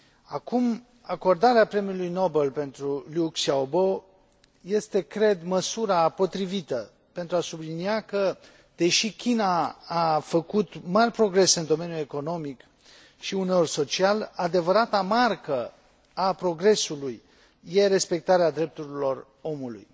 Acum, acordarea Premiului Nobel pentru Liu Xiaobo este, cred, măsura potrivită pentru a sublinia că, deși China a făcut mari progrese în domeniul economic și uneori social, adevărata marcă a progresului e respectarea drepturilor omului.